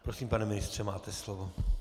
Prosím, pane ministře, máte slovo.